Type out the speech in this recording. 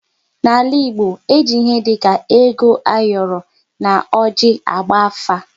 N'ala Igbo, e ji ihe dị ka ego ayoro na oji agba afa